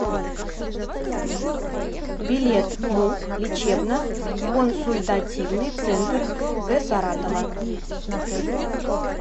билет муп лечебно консультативный центр г саратова